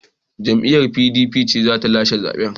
Jam’iyyar PDP ce za ta lashe zaben.